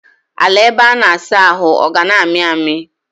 Ala ebe a na-asa ahụ ọ ga na-ami ami?